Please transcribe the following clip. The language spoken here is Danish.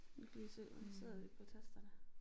Kan ikke lige se om de sidder vel på tasterne